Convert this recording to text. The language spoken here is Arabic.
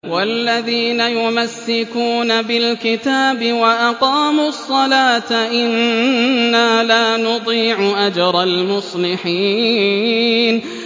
وَالَّذِينَ يُمَسِّكُونَ بِالْكِتَابِ وَأَقَامُوا الصَّلَاةَ إِنَّا لَا نُضِيعُ أَجْرَ الْمُصْلِحِينَ